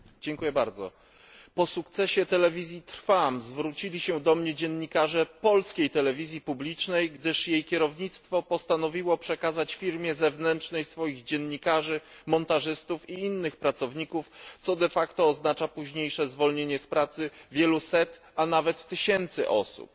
Panie Przewodniczący! Po sukcesie telewizji Trwam zwrócili się do mnie dziennikarze polskiej telewizji publicznej, gdyż jej kierownictwo postanowiło przekazać firmie zewnętrznej swoich dziennikarzy, montażystów i innych pracowników, co oznacza późniejsze zwolnienie z pracy wiele setek, a nawet tysięcy osób.